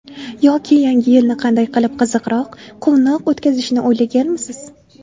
Yoki yangi yilni qanday qilib qiziqroq, quvnoq o‘tkazishni o‘ylaganmisiz?